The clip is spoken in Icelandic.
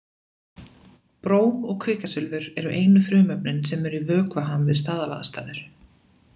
Bróm og kvikasilfur eru einu frumefnin sem eru í vökvaham við staðalaðstæður.